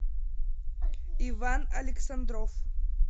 иван александров